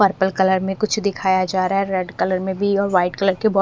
purple colour में कुछ दिखाया जा रहा है रेड कलर में भी और वाइट कलर के बौ--